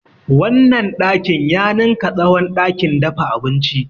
Wannan ɗakin ya ninka tsawon ɗakin dafa abinci.